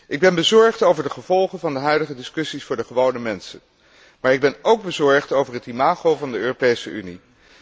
Ik ben bezorgd over de gevolgen van de huidige discussies voor de gewone mensen, maar ik ben ook bezorgd over het imago van de Europese Unie.